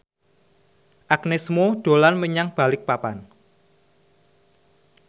Agnes Mo dolan menyang Balikpapan